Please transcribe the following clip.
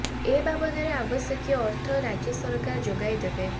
ଏ ବାବଦରେ ଆବଶ୍ୟକୀୟ ଅର୍ଥ ରାଜ୍ୟ ସରକାର ଯୋଗାଇ ଦେବେ